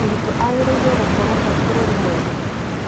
Mũrutwo agĩrĩirwo gũkorwo e mũbũrũri mwega